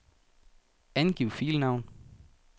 Angiv filnavn.